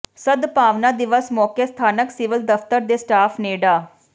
ਸਦਭਾਵਨਾ ਦਿਵਸ ਮੌਕੇ ਸਥਾਨਕ ਸਿਵਲ ਦਫ਼ਤਰ ਦੇ ਸਟਾਫ਼ ਨੇ ਡਾ